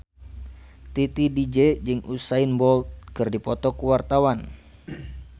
Titi DJ jeung Usain Bolt keur dipoto ku wartawan